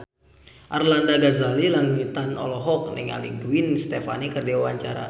Arlanda Ghazali Langitan olohok ningali Gwen Stefani keur diwawancara